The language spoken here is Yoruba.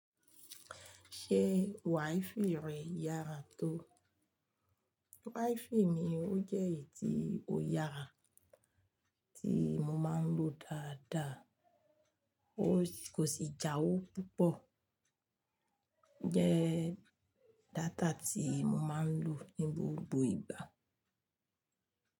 Ṣé WiFi rẹ yára tó? WiFi mi ó jẹ́ èyí tí ó yára tí mo máa ń lò dáadáa. Ó kò sì jáwó púpọ̀. Ọ jẹ́ data tí mo máa ń lò ní gbogbo ìgbà.